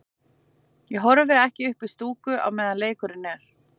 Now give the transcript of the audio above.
Ég horfi ekki upp í stúku á meðan leikurinn er.